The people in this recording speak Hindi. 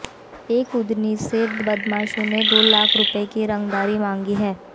एक उद्यमी से बदमाशों ने दो लाख रुपये की रंगदारी मांगी है